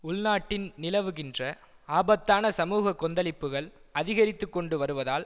உள்நாட்டின் நிலவுகின்ற ஆபத்தான சமூக கொந்தளிப்புகள் அதிகரித்து கொண்டு வருவதால்